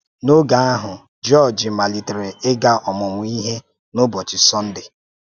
N’òge ahụ́, Jọ́ọ̀jì malitere ị́ga ọmụ́mụ́ ìhè n’ụ́bọ́chị Sọ́ndè.